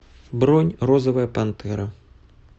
бронь розовая пантера